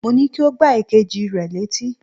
Mo ní kí o gbá èkejì rẹ létí